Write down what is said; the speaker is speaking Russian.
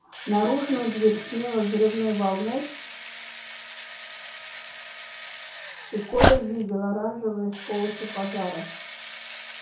наружную дверь смело взрывной волной и коля видел оранжевые сполохи пожаров